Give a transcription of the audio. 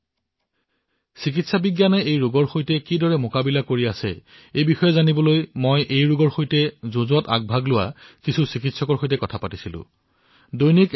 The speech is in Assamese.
বন্ধুসকল আমি চিকিৎসা পৰ্যায়ত এই মহামাৰীৰ সৈতে কিদৰে মোকাবিল কৰি আছো সেই বিষয়ে জানিবলৈ মই কিছুসংখ্যক চিকিৎসকৰ সৈতে কথা পাতিছো যিসকলে সন্মুখৰ শাৰীৰৰ পৰা এই যুদ্ধ চম্ভালি আছে